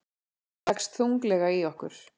Leggst þunglega í okkur